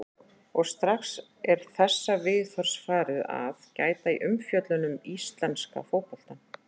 Og strax er þessa viðhorfs farið að gæta í umfjöllun um íslenska fótboltann.